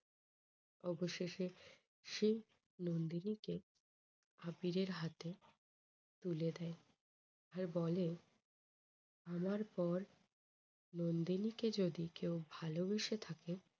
অবশেষে সে নন্দিনীকে আবিরের হাতে তুলে দেয়। আর বলে যে আমার পর নন্দিনীকে যদি কেউ ভালোবেসে থাকে